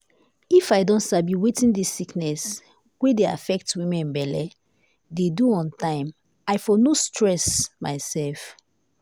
if i don sabi wetin dis sickness wey dey affect woman belle de do on time i for no too stress myself.